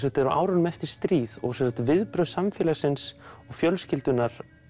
þetta er á árunum eftir stríð og viðbrögð samfélagsins og fjölskyldunnar